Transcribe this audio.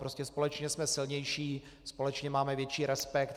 Prostě společně jsme silnější, společně máme větší respekt.